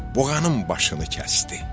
Buğanın başını kəsdi.